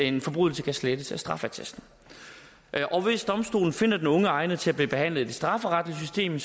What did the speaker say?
en forbrydelse kan slettes af straffeattesten og hvis domstolen finder den unge egnet til at blive behandlet i det strafferetlige system